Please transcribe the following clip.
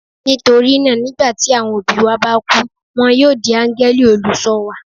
Nítorí náà, nígbà tí àwọn òbí wa bá kú, wọn yóò di áńgẹ́lì olùṣọ́ wa.